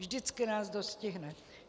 Vždycky nás dostihne.